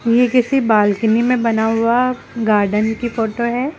ये किसी बालकनी मे बना हुआ गार्डन की फोटो है।